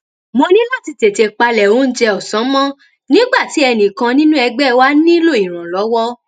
mo ní láti tètè palẹ oúnjẹ òsán mọ nígbà tí ẹnì kan nínú ẹgbé wa nílò ìrànlówó